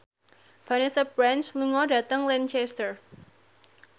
Vanessa Branch lunga dhateng Lancaster